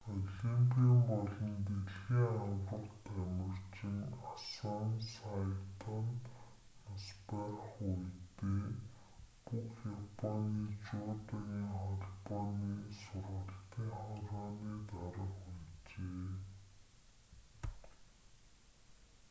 олимпийн болон дэлхийн аварга тамирчин асан сайто нь нас барах үедээ бүх японы жүдогийн холбооны сургалтын хорооны дарга байжээ